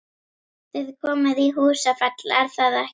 Þið komið í Húsafell, er það ekki?